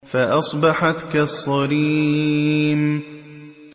فَأَصْبَحَتْ كَالصَّرِيمِ